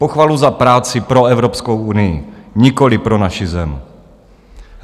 Pochvalu za práci pro Evropskou unii, nikoliv pro naši zem.